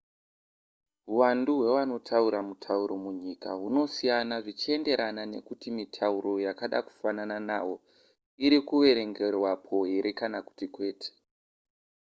huwandu hwevanotaura mutauro munyika hunosiyana zvichienderana nekuti mitauro yakada kufanana nawo iri kuverengerwapo here kana kuti kwete